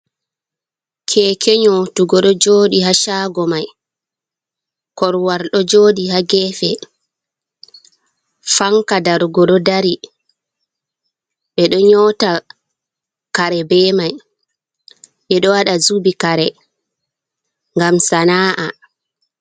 Keke nyotugo ɗo joɗi ha shago mai, korowal ɗo joɗi ha gefe, fanka darugo ɗo dari. Ɓeɗo nyota kare be mai, ɓeɗo waɗa zubi kare ngam sana'a.